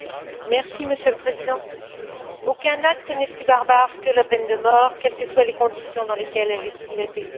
Monsieur le Président, aucun acte n'est plus barbare que la peine de mort, quelles que soient les conditions dans lesquelles elle a été exécutée.